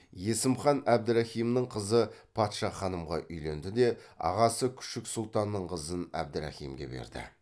есім хан әбдірахимнің қызы патша ханымға үйленді де ағасы күшік сұлтанның қызын әбдірахимге берді